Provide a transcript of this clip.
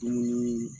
Dumuni